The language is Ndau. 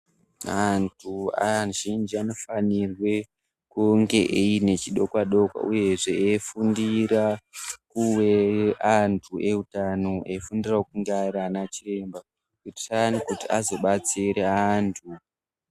Antu azhinji anofanirwe kunge aine chidokwa-dokwa uyehe eifundire kuwe antu eutano echifundirawo kunge ari anachiremba kuitira kuti azodetsere antu.